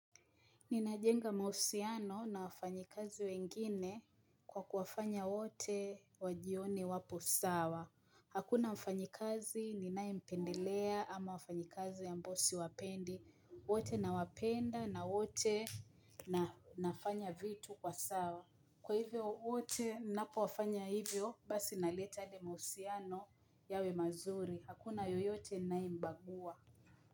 Ninajenga mahusiano na wafanyi kazi wengine kwa kuwafanya wote wajione wapo sawa. Hakuna mfanyi kazi ninayempendelea ama wafanyi kazi ambao siwapendi. Wote nawapenda na wote na nafanya vitu kwa sawa. Kwa hivyo wote napo wafanya hivyo basi naleta yale mahusiano yawe mazuri. Hakuna yoyote nayembagua.